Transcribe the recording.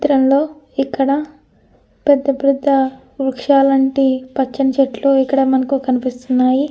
ఈ చిత్రంలో ఇక్కడ పెద్ద పెద్ద వృక్షలాంటి పచ్చని చెట్లు కనిపిస్తున్నాయి.